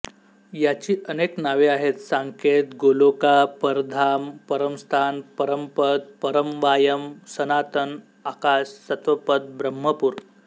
याची अनेक नावे आहेत साकेत गोलोका परमधाम परमस्थान परमपद परमवायम सनातन आकाश सत्वपद ब्रह्मपूर